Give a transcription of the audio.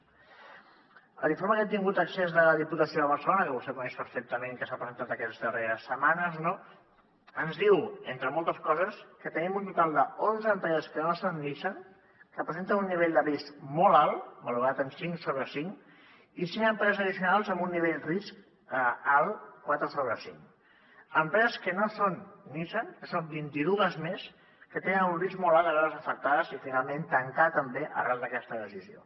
a l’informe a què hem tingut accés de la diputació de barcelona que vostè coneix perfectament que s’ha presentat aquestes darreres setmanes ens diu entre moltes coses que tenim un total d’onze empreses que no són nissan que presenten un nivell de risc molt alt valorat en cinc sobre cinc i cinc empreses addicionals amb un nivell de risc alt quatre sobre cinc empreses que no són nissan que són vint i dues més que tenen un risc molt alt de veure’s afectades i finalment tancar també arran d’aquesta decisió